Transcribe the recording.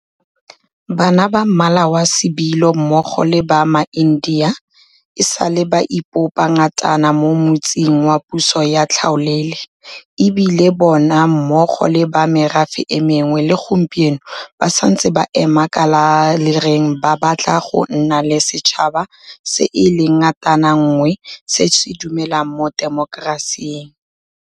Bana ba Mmala wa Sebilo mmogo le ba maIndia e sa le ba ipopa ngatana mo motsing wa puso ya tlhaolele, e bile bona mmogo le ba merafe e mengwe le gompieno ba santse ba eme ka le lereng ba batla go nna le setšhaba se e leng ngatananngwe se se dumelang mo temokerasing.